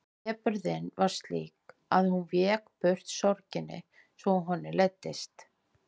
Depurðin var slík að hún vék burt sorginni svo honum leiddist.